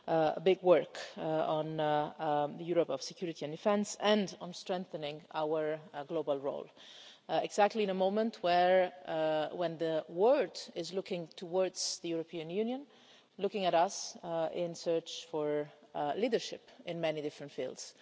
a big work on the Europe of security and defence and on strengthening our global role exactly in a moment when the word is looking towards the European Union, looking at us in search of leadership in many different fields.